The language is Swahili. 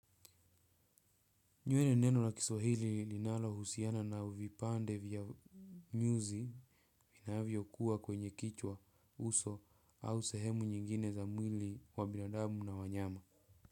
Nywele ni neno la kiswahili linalo husiana na uvipande vya nyuzi vinavyo kuwa kwenye kichwa uso au sehemu nyingine za mwili wa binadamu na wanyama.